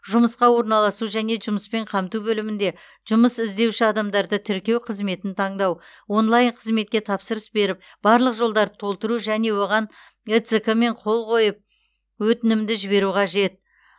жұмысқа орналасу және жұмыспен қамту бөлімінде жұмыс іздеуші адамдарды тіркеу қызметін таңдау онлайн қызметке тапсырыс беріп барлық жолдарды толтыру және оған эцқ мен қол қойып өтінімді жіберу қажет